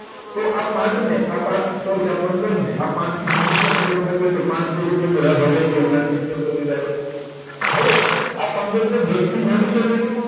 તો આ પાંચને આ પાંચ sorry પંદર ને પાંચ થી ભાગી શકે તો પાંચ તારીખ પંદર આ ભગાઈ ગયા તો હવે પંદર ને દસ થી ભાગી શકાય